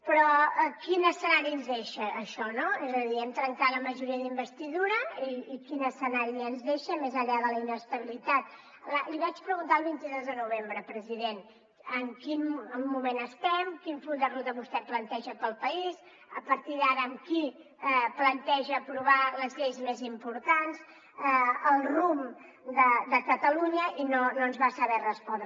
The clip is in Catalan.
però quin escenari ens deixa això és a dir hem trencat la majoria d’investidura i quin escenari ens deixa més enllà de la inestabilitat li vaig preguntar el vint dos de novembre president en quin moment estem quin full de ruta vostè planteja per al país a partir d’ara amb qui planteja aprovar les lleis més importants el rumb de catalunya i no ens va saber respondre